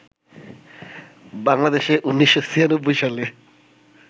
বাংলাদেশে ১৯৯৬ সালে